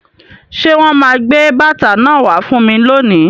Ṣé wọn máa gbé bàtà náà wá fún mi lónìí?